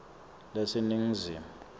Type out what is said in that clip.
leseningizimu